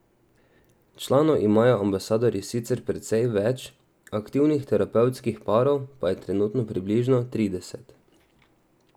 Članov imajo Ambasadorji sicer precej več, aktivnih terapevtskih parov pa je trenutno približno trideset.